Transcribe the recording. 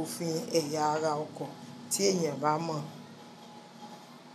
òfin ẹ̀yà ara ọkọ̀ tí èèyàn bá mọ̀